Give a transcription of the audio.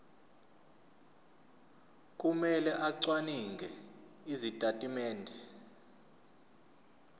kumele acwaninge izitatimende